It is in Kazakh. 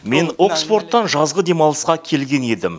мен оксфордтан жазғы демалысқа келген едім